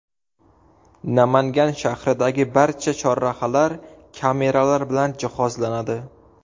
Namangan shahridagi barcha chorrahalar kameralar bilan jihozlanadi.